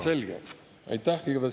Selge, aitäh!